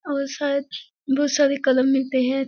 और शायद बहुत सारे कलम मिलते हैं।